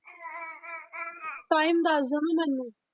Time ਦੱਸ ਦਓਗੇ ਮੈਨੂੰ।